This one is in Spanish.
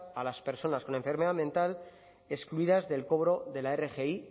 a las personas con enfermedad mental excluidas del cobro de la rgi